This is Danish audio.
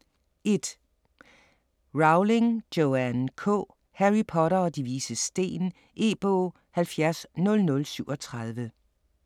1. Rowling, Joanne K.: Harry Potter og De Vises Sten E-bog 700037